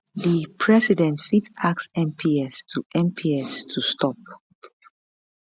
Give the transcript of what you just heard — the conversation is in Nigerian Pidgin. di president fit ask mps to mps to stop